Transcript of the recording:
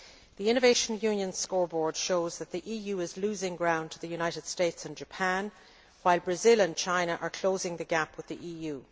The Innovation Union Scoreboard shows that the EU is losing ground to the United States and Japan, while Brazil and China are closing the gap with the EU.